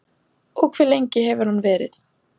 Og hve lengi hefur hann verið?